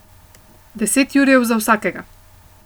Deset jurjev za vsakega.